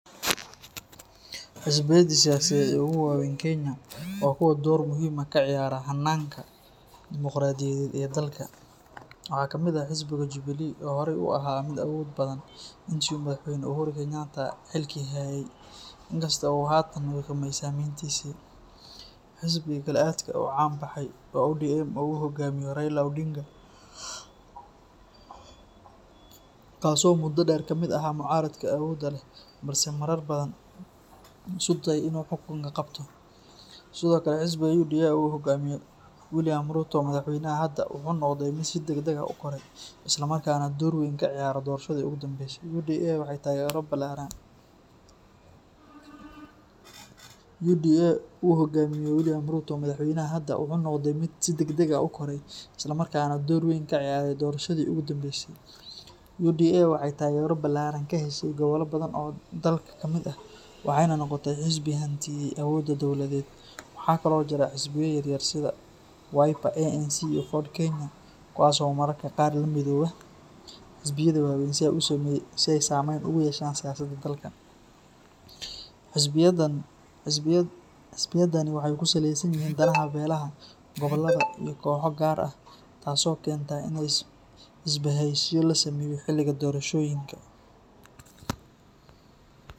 Xisbiyada siyaasadeed ee ugu waaweyn Kenya waa kuwo door muhiim ah ka ciyaara hanaanka dimuqraadiyadeed ee dalka. Waxaa ka mid ah xisbiga Jubilee oo horay u ahaa mid awood badan intii uu madaxweyne Uhuru Kenyatta xilka hayay, inkasta oo uu haatan wiiqmay saameyntiisii. Xisbiga kale ee aadka u caan baxay waa ODM oo uu hoggaamiyo Raila Odinga, kaasoo muddo dheer ka mid ahaa mucaaradka awoodda leh balse marar badan isku dayay inuu xukunka qabto. Sidoo kale, xisbiga UDA oo uu hogaamiyo William Ruto, madaxweynaha hadda, wuxuu noqday mid si degdeg ah u koray, isla markaana door weyn ka ciyaaray doorashadii ugu dambeysay. UDA waxay taageero ballaaran ka heshay gobollo badan oo dalka ka mid ah waxayna noqotay xisbi hantiiyey awoodda dowladeed. Waxaa kale oo jira xisbiyo yaryar sida Wiper, ANC, iyo Ford-Kenya kuwaas oo mararka qaar la midooba xisbiyada waaweyn si ay saameyn ugu yeeshaan siyaasadda dalka. Xisbiyadani waxay ku saleysan yihiin danaha beelaha, gobollada, iyo kooxo gaar ah, taasoo keenta in isbahaysiyo la sameeyo xiliga doorashooyinka.